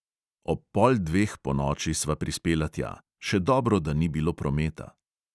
Ob pol dveh ponoči sva prispela tja, še dobro da ni bilo prometa.